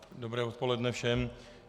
Dobré odpoledne všem.